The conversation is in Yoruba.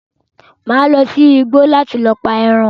Màá lọ sí igbo láti pa ẹran.